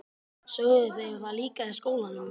Sögðu þeir það líka í skólanum?